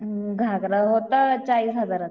घागरा होता चाळीस हजाराचा.